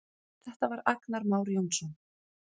Þetta var Agnar Már Jónsson.